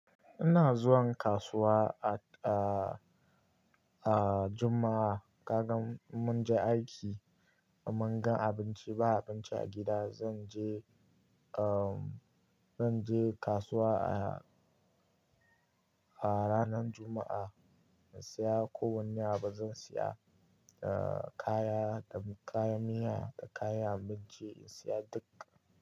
Ina zuwan kasuwa a, a, a Juma'a. Kaga in mun je aiki, in mun gan abinci, ba abinci a gida. Zan je, uhm, zan je kasuwa a, a ranar Juma'a in saya ko wanne abu. Zan saya, uh, kaya da kaya miya da kayan abinci in saya duk.